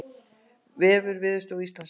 Vefur Veðurstofu Íslands